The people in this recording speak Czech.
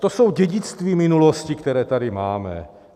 To jsou dědictví minulosti, která tady máme.